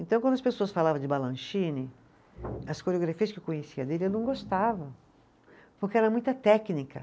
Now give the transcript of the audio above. Então, quando as pessoas falavam de, as coreografias que eu conhecia dele, eu não gostava, porque era muita técnica